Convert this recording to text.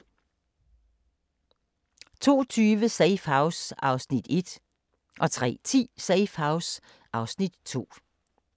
02:20: Safe House (Afs. 1) 03:10: Safe House (Afs. 2)